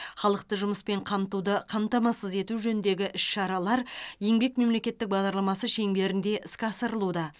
халықты жұмыспен қамтуды қамтамасыз ету жөніндегі іс шаралар еңбек мемлекеттік бағдарламасы шеңберінде іске асырылуда